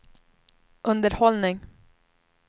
underhållning